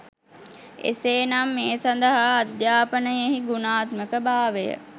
එසේ නම් ඒ සඳහා අධ්‍යාපනයෙහි ගුණාත්මක භාවය